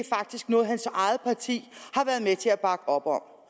noget hans eget parti har været med til at bakke op om